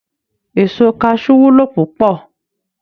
Èso kaṣú wúlò púpọ̀